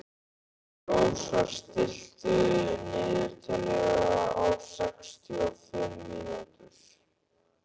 Rósar, stilltu niðurteljara á sextíu og fimm mínútur.